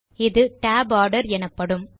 இது tab order எனப்படும்